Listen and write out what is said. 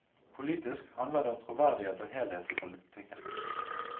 Politisk handler det om troverdighet og helhet i politikken.